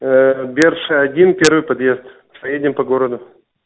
берша один первый подъезд поедем по городу